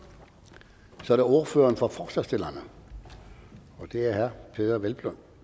så er det ordføreren for forslagsstillerne og det er herre peder hvelplund